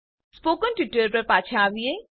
spoken tutorial પર પાછા આવીએ